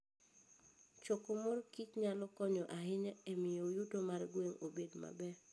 Choko mor kich nyalo konyo ahinya e miyo yuto mar gweng' obed maber.